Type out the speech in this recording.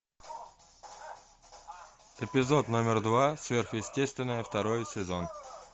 эпизод номер два сверхъестественное второй сезон